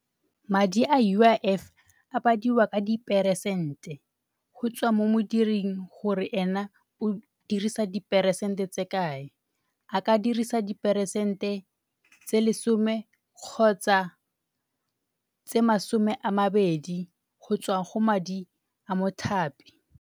Madi a U_I_F a badiwa ka diperesente, go tswa mo modiring gore ena o dirisa diperesente tse kae. A ka dirisa diperesente tse lesome kgotsa tse masome a mabedi go tswa go madi a mothapi.